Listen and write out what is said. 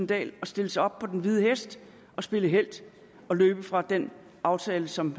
dahl at svinge sig op på den hvide hest og spille helt og løbe fra den aftale som